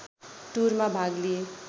टुरमा भाग लिए